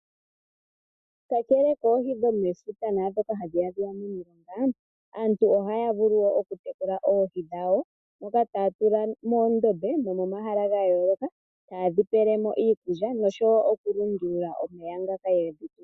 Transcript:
Kakele koohi dhomefuta naandhoka hayi ya momilonga, aantu ohaya vulu oku tekula oohi dhawo ndhoka taya tula moondombe nomomahala ga yooloka, ta yedhi pele mo iikulya noshowo oku lundulula omeya ngoka yedhi tula.